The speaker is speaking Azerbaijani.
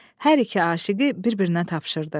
Hər iki aşiqi bir-birinə tapşırdı.